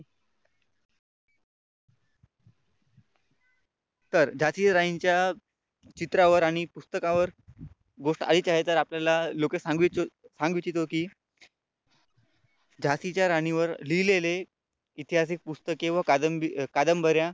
तर झाशीच्या राणीच्या चित्रावर आणि पुस्तकावर गोष्ट आहे तर आपल्याला लोकेश सांग इच्छितो कि झाशीच्या राणीवर लिहिलेले ऐतिहासिक पुस्तके व कादंब कादंबऱ्या